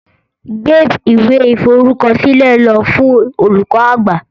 Gbeb iwe iforukọsilẹ lo fun olukọ-agbạ!